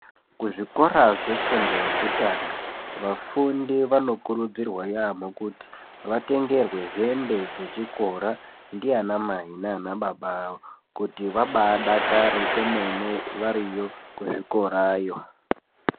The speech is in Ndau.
Kuzvikora zvefundo yekutanga vafundi vanokurudzirwa yamho kuti vatengerwe hembe dzechikora ndiana mai naana baba kuti vabaadakare vairiyo kuzvikorayo.